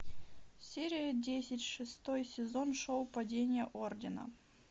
серия десять шестой сезон шоу падение ордена